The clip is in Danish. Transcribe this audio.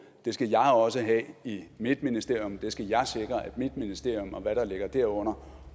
det skal jeg også have i mit ministerium det skal jeg sikre at mit ministerium og hvad der ligger derunder